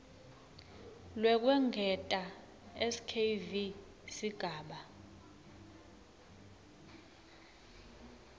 lwekwengeta skv sigaba